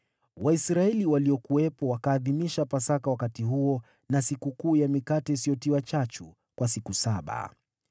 Waisraeli waliokuwepo wakaadhimisha Pasaka wakati huo na Sikukuu ya Mikate Isiyotiwa Chachu kwa siku saba.